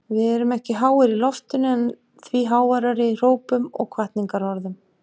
Við erum ekki háir í loftinu en því háværari í hrópum og hvatningarorðum.